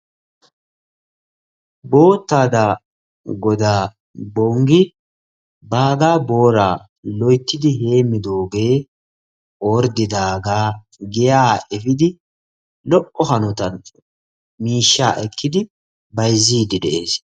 Boottaadaa godaa Bonggi baagaa booraa loyttidi heemmidoogee giyaa efiidi lo"o hanotan miishshaa ekkidi bayzziiddi de'ees.